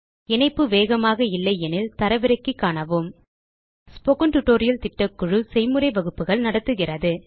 இணைப்பு வேகமாக இல்லையெனில் தரவிறக்கி காணவும் ஸ்போக்கன் டியூட்டோரியல் திட்டக்குழு ஸ்போக்கன் tutorial களைப் பயன்படுத்தி செய்முறை வகுப்புகள் நடத்துகிறது